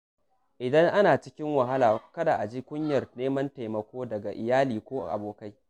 Idan ana cikin wahala, kada a ji kunyar neman taimako daga iyali ko abokai.